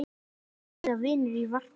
Þar bíða vinir í varpa.